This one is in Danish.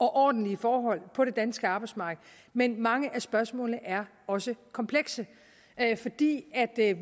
og ordentlige forhold på det danske arbejdsmarked men mange af spørgsmålene er også komplekse fordi